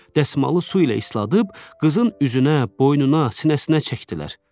Dəsmalı su ilə isladıb qızın üzünə, boynuna, sinəsinə çəkdilər.